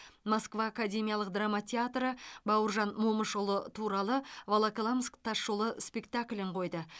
москва академиялық драма театры бауыржан момышұлы туралы волоколамск тас жолы спектаклін қойды